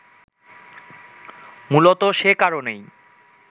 মূলত সে কারণেই